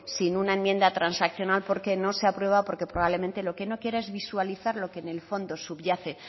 sin una enmienda transaccional no se aprueba porque probablemente lo que no quiere es visualizar lo que en el fondo subyace